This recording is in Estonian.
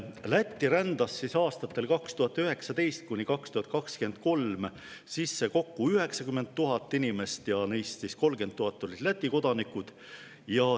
Lätti rändas aastatel 2019–2023 sisse kokku 90 000 inimest, neist 30 000 olid Läti kodanikud.